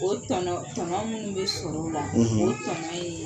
O tɔnɔn tɔnɔn munnu bɛ sɔrɔ o la; o tɔnɔn ye